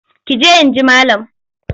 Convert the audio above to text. Ki je in ji malam!